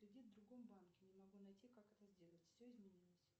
кредит в другом банке не могу найти как это сделать все изменилось